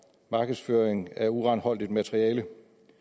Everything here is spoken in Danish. markedsføring af uranholdigt materiale